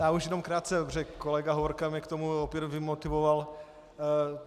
Já už jenom krátce, protože kolega Hovorka mě k tomu opět vymotivoval.